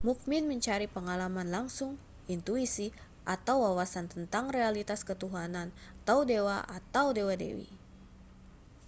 mukmin mencari pengalaman langsung intuisi atau wawasan tentang realitas ketuhanan/dewa atau dewa-dewi